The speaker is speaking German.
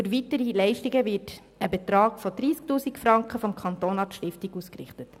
Für weitere Leistungen bezahlt der Kanton der Stiftung einen Betrag von 30 000 Franken.